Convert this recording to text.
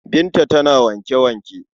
Binta tana wanke-wanke.